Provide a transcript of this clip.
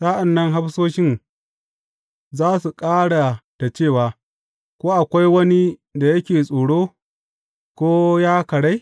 Sa’an nan hafsoshin za su ƙara da cewa, Ko akwai wani da yake tsoro, ko ya karai?